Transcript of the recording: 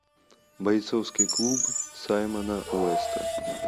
бойцовский клуб саймона уэста